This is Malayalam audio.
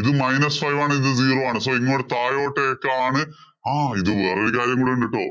ഇത് minus five ആണ്. ഇത് zero ആണ്. So ഇങ്ങോട്ടേക്കാണ് താഴോട്ടേക്കാണ് ആ ഇത് വേറൊരു കാര്യം കൂടി ഉണ്ടൂട്ടോ.